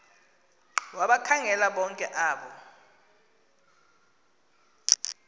wabakhangela bonke abo